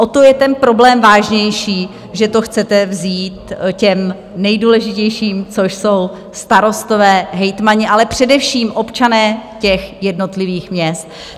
O to je ten problém vážnější, že to chcete vzít těm nejdůležitějším, což jsou starostové, hejtmani, ale především občané těch jednotlivých měst.